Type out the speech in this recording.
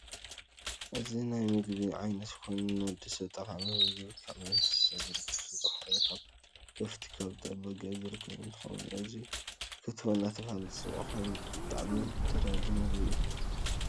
እዚ ናይ ምገቢዓይነት ኮይኑ ንወዲ ሰብ ጠቃሚ ምግቢ ካብ እንስሳ ዝርከብ ስጋ ኮይኑ ካብ ከፍቲ፣ ካብ ጤል፣ በጊዕ ዝርከብ እንትኸውን እዙይ ክትፎ እንዳተባህለ ዝፅዋዕ ኮይኑ ብጣዕሚ ተዳላዪ ምግቢ እዩ፡፡